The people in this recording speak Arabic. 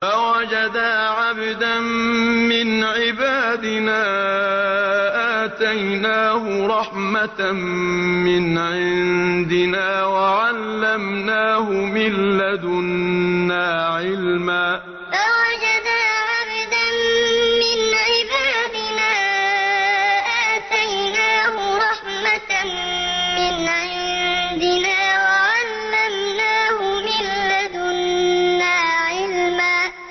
فَوَجَدَا عَبْدًا مِّنْ عِبَادِنَا آتَيْنَاهُ رَحْمَةً مِّنْ عِندِنَا وَعَلَّمْنَاهُ مِن لَّدُنَّا عِلْمًا فَوَجَدَا عَبْدًا مِّنْ عِبَادِنَا آتَيْنَاهُ رَحْمَةً مِّنْ عِندِنَا وَعَلَّمْنَاهُ مِن لَّدُنَّا عِلْمًا